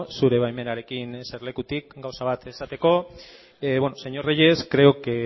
zure baimenarekin jesarlekutik gauza bat esateko señor reyes creo que